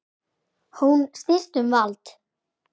Hún snýst um vald.